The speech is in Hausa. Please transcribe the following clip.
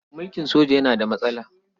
Mulkin soja yana da matsala.